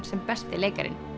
sem besti leikarinn